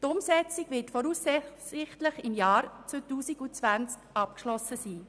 Die Umsetzung wird voraussichtlich im Jahr 2020 abgeschlossen sein.